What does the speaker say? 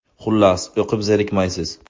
Xullas, o‘qib zerikmaysiz.